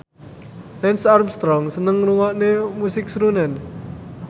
Lance Armstrong seneng ngrungokne musik srunen